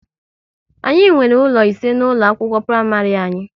Anyị nwere ụlọ ise na ụlọ akwụkwọ praịmarị anyị